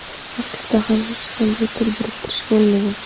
Aslida ham hech qanday til biriktirish bo‘lmagan.